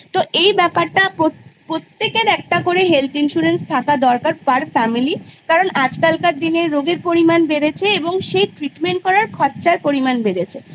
তো এই ব্যপারটা প্রত্যেকের health insurance থাকা দরকার per family কারণ আজকাল কার দিনে রোগের পরিমান বেড়েছে এবং সেই treatment করার খরচার পরিমান বেড়েছে